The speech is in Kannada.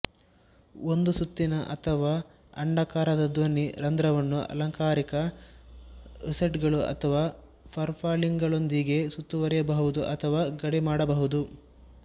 ಒಂದು ಸುತ್ತಿನ ಅಥವಾ ಅಂಡಾಕಾರದ ಧ್ವನಿ ರಂಧ್ರವನ್ನು ಅಲಂಕಾರಿಕ ರೊಸೆಟ್ಗಳು ಅಥವಾ ಪರ್ಫಲಿಂಗ್ಗಳೊಂದಿಗೆ ಸುತ್ತುವರಿಯಬಹುದು ಅಥವಾ ಗಡಿಮಾಡಬಹುದು